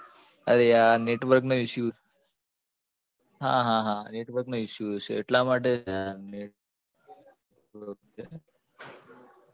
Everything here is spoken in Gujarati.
અરે યાર network નો issue હા હા હા network નો issue હશે એટલા માટે જ